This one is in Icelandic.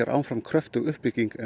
áfram kröftug uppbygging eins